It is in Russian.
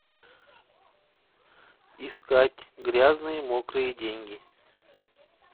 искать грязные мокрые деньги